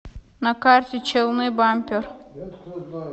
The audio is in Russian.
на карте челны бампер